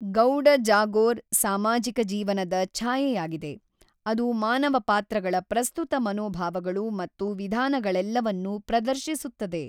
ಗೌಡ ಜಾಗೋರ್ ಸಾಮಾಜಿಕ ಜೀವನದ ಛಾಯೆಯಾಗಿದೆ, ಅದು ಮಾನವ ಪಾತ್ರಗಳ ಪ್ರಸ್ತುತ ಮನೋಭಾವಗಳು ಮತ್ತು ವಿಧಾನಗಳೆಲ್ಲವನ್ನೂ ಪ್ರದರ್ಶಿಸುತ್ತದೆ.